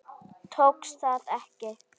Tókst það ekki.